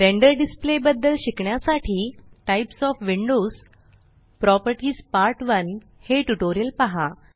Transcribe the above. render display बदद्ल शिकण्यासाठी types OF Windows properties part 1 हे ट्यूटोरियल पहा